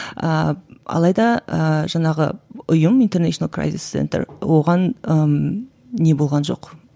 ыыы алайда ыыы жаңағы ұйым интернейшнл прайзес центр оған ммм не болған жоқ